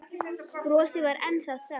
Brosið var enn það sama.